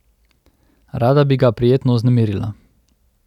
Rada bi ga prijetno vznemirila.